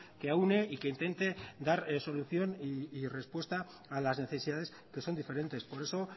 que aúne y que intente dar solución y respuesta a las necesidades que son diferentes por eso